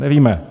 Nevíme.